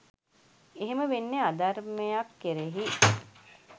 එහෙම වෙන්නේ අධර්මයක් කෙරෙහි